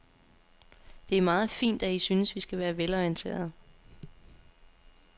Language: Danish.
Det er meget fint, at I synes, vi skal være velorienterede.